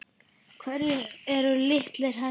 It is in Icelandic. Hverjir eru litir hesta?